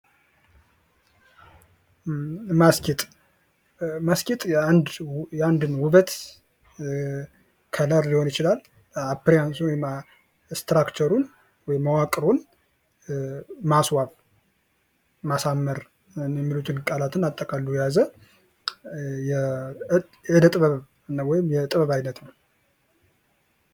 ማስጌጥ :- ማስጌጥ የአንድን ዉበት ከለር ሊሆን ይችላል እንደያዙ ስትራክቸሩን ወይም መዋቅሩን ማስዋብ ማሳመር የሚሉትን ቃላትን አጠቃሎ የያዘ የእደ ጥበብ ወይም የጥበብ አይነት ነዉ።